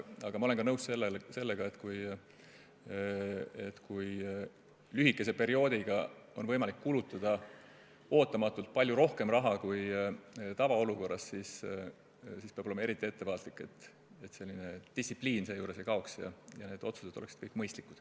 Aga ma olen ka nõus sellega, et kui lühikese perioodiga on võimalik kulutada ootamatult palju rohkem raha kui tavaolukorras, siis peab olema eriti ettevaatlik, et distsipliin seejuures ei kaoks ja otsused oleksid kõik mõistlikud.